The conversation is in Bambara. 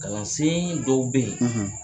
Kalansen dɔw bɛ yen